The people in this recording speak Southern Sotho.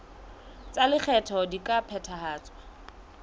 tsa lekgetho di ka phethahatswa